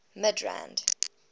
midrand